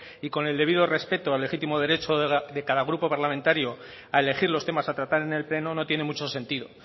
y con el debido respeto al legítimo derecho de cada grupo parlamentario a elegir los temas a tratar en el pleno no tiene mucho sentido